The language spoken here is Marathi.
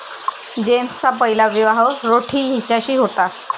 जेम्सचा पहिला विवाह रोठी हिच्याशी होता.